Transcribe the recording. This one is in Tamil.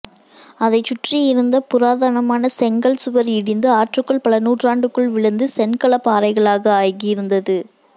அதைச்சுற்றி இருந்த புராதனமான செஙக்ல்சுவர் இடிந்து ஆற்றுக்குள் பல நூற்றாண்டுகளுக்குள் விழுந்து சென்கலபாறைகளாக ஆகியிருந்தது